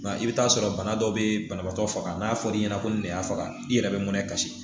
Nka i bɛ t'a sɔrɔ bana dɔw bɛ banabaatɔ faga n'a fɔra i ɲɛna ko nin de y'a faga i yɛrɛ bɛ mɛnɛ kasi